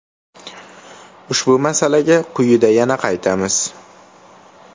Ushbu masalaga quyida yana qaytamiz.